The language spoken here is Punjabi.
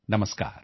ਨਮਸਕਾਰ